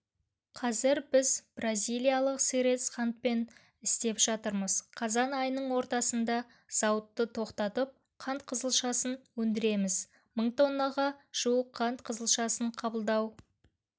қазір біз бразилиялық сырец қантпен істеп жатырмыз қазан айының ортасында зауытты тоқтатып қант қызылшасын өндіреміз мың тоннаға жуық қант қызылшасын қабылдау